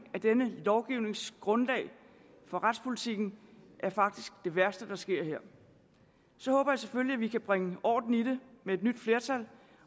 af denne lovgivnings grundlag for retspolitikken faktisk det værste der sker her så håber jeg selvfølgelig vi kan bringe orden i det med et nyt flertal